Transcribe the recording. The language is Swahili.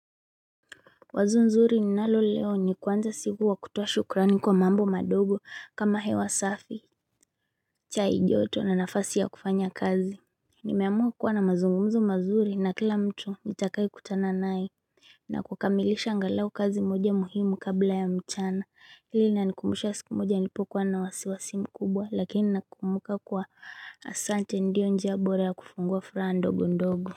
Wazo nzuri ninalo leo ni kuanza siku kwaa kutoa shukrani kwa mambo madogo kama hewa safi chai joto na nafasi ya kufanya kazi Nimeamua kuwa na mazungumzo mazuri na kila mtu nitakaye kutana naye na kukamilisha angalau kazi moja muhimu kabla ya mchana hii inanikumbusha siku moja nilipokuwa na wasiwasi mkubwa lakini nakumbuka kuwa asante ndio njia bora ya kufungua furaha ndogo ndogo.